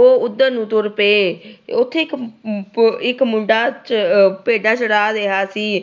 ਉਹ ਉਧਰ ਨੂੰ ਤੁਰ ਪਏ। ਉਥੇ ਇੱਕ ਆਹ ਮੁੰਡਾ ਆਹ ਭੇਡਾਂ ਚਰਾ ਰਿਹਾ ਸੀ।